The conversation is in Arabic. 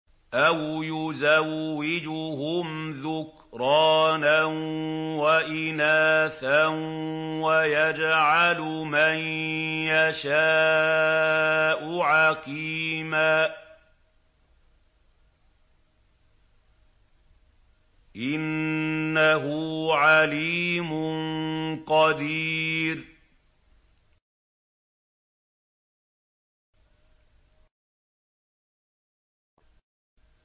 أَوْ يُزَوِّجُهُمْ ذُكْرَانًا وَإِنَاثًا ۖ وَيَجْعَلُ مَن يَشَاءُ عَقِيمًا ۚ إِنَّهُ عَلِيمٌ قَدِيرٌ